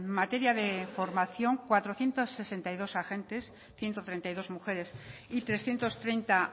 materia de formación cuatrocientos sesenta y dos agentes ciento treinta y dos mujeres y trescientos treinta